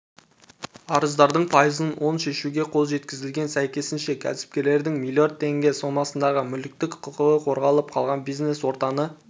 арыздардың пайызын оң шешуге қол жеткізілген сәйкесінше кәсіпкерлердің млрд теңге сомасындағы мүліктік құқығы қорғалып қалған бизнес-ортаны